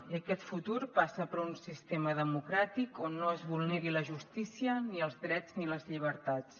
i aquest futur passa per un sistema democràtic on no es vulneri la justícia ni els drets ni les llibertats